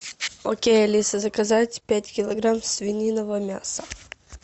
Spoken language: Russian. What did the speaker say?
окей алиса заказать пять килограмм свиного мяса